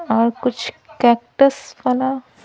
और कुछ कैक्टस वाला --